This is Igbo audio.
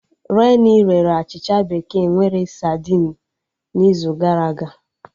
Renii rere achịcha bekee nwere sadinu n'izu gara aga